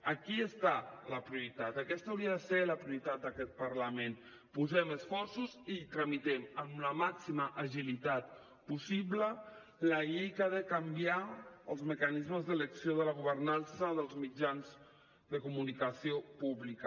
aquí està la prioritat aquesta hauria de ser la prioritat d’aquest parlament posem esforços i tramitem amb la màxima agilitat possible la llei que ha de canviar els mecanismes d’elecció de la governança dels mitjans de comunicació pública